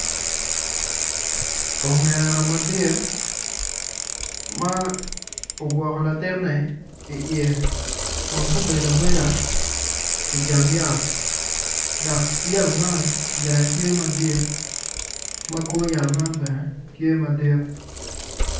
Ongera madit ma okwoko latinne iye kun gubedo abeda i jang yat dak yat man jange tye madit ma kor yat man bene tye madit